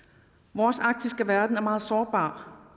vores arktiske verden er meget sårbar